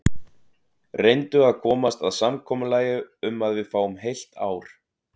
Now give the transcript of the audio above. Reyndu að komast að samkomulagi um að við fáum heilt ár.